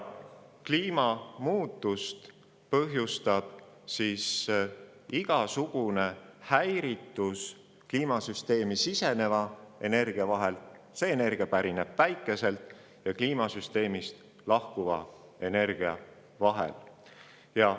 Kliimamuutust põhjustab igasugune muutus kliimasüsteemi siseneva energia – see energia pärineb Päikeselt – ja kliimasüsteemist lahkuva energia vahel.